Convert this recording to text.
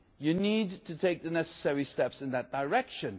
You need to take the necessary steps in that direction.